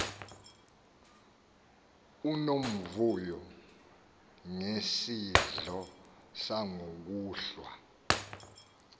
unomvuyo ngesidlo sangokuhlwa